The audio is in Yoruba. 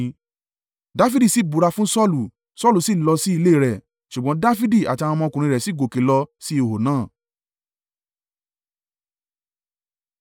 Dafidi sì búra fún Saulu. Saulu sì lọ sí ilé rẹ̀; ṣùgbọ́n Dafidi àti àwọn ọmọkùnrin rẹ̀ sì gòkè lọ sí ihò náà.